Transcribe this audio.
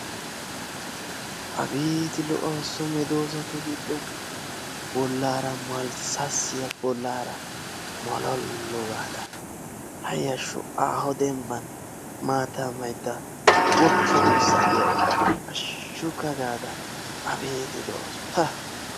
Abeeti lo'awusu so meedoosatu giddon! Bollaara malassassiya, bollara mollolu gaada, hayashsho! aaho dembban maataa maydda woppa duussaa diyaara hashshukka gaada abeeti lo'awusu pa!